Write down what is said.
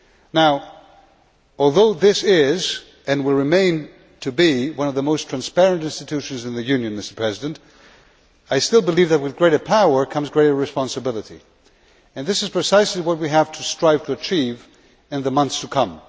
Now, although this is, and will remain, one of the most transparent institutions in the Union, I still believe that with greater power comes greater responsibility, and this is precisely what we must strive to achieve in the months to come.